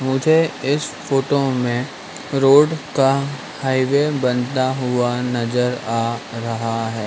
मुझे इस फोटो में रोड का हाईवे बनता हुआ नजर आ रहा है।